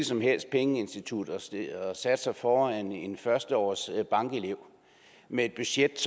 som helst pengeinstitut og satte sig foran en førsteårsbankelev med et budget